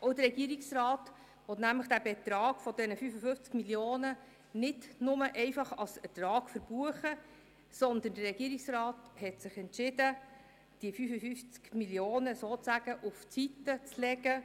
Auch der Regierungsrat will nämlich den Betrag von 55 Mio. Franken nicht einfach nur als Ertrag verbuchen, sondern der Regierungsrat hat sich entschieden, die 55 Mio. Franken sozusagen zur Seite zu legen.